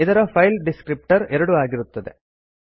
ಇದರ file descriptor 2 ಆಗಿರುತ್ತದೆ